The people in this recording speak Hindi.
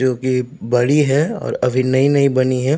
जोकि बड़ी है और अभी नई-नई बनी है।